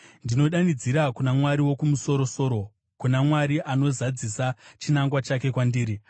Ndinodanidzira kuna Mwari Wokumusoro-soro, kuna Mwari anozadzisa chinangwa chake kwandiri.